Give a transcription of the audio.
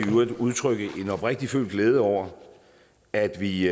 i øvrigt udtrykke en oprigtigt følt glæde over at vi